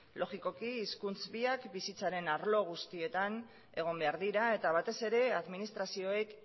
logikoki hizkuntza biak bizitzaren arlo guztietan egon behar dira eta batez ere administrazioek